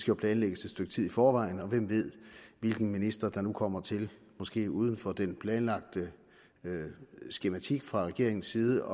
jo planlægges et stykke tid i forvejen og hvem ved hvilken minister der nu kommer til måske uden for den planlagte skematik fra regeringens side